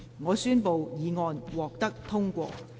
我宣布議案獲得通過。